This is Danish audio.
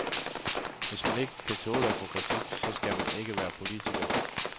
Hvis man ikke kan tåle at få kritik, så skal man ikke være politiker.